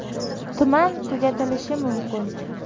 Tuman tugatilishi mumkin.